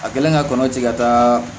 A kɛlen ka kɔnɔti ka taa